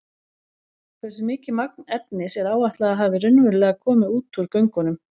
Hversu mikið magn efnis er áætlað að hafi raunverulega komið út úr göngunum?